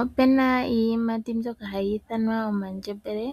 Opu na iiyimati mbyoka hayi ithanwa omandjembele.